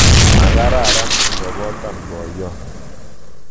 Makararan ikobotan boyot